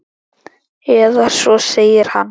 Eða svo segir hann!